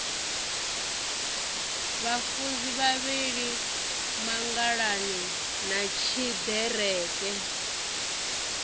vhafunzi vhavhili mangalani na tshiḓereke